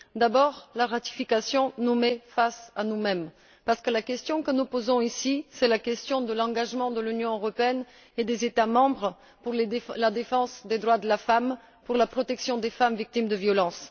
D'abord, la ratification nous met face à nous mêmes, parce que la question que nous posons ici, c'est la question de l'engagement de l'Union européenne et des États membres pour la défense des droits de la femme, pour la protection des femmes victimes de violence.